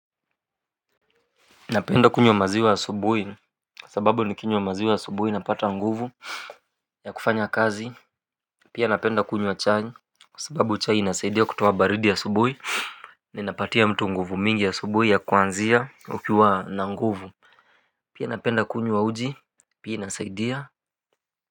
Napenda kunywa maziwa asubuhi kwa sababu nikinywa maziwa asubuhi napata nguvu ya kufanya kazi, pia napenda kunywa chai kwa sababu chai inasaidia kutoa baridi asubuhi na inapatia mtu nguvu mingi asubuhi ya kuanzia ukiwa na nguvu. Pia napenda kunywa uji pia inasaidia.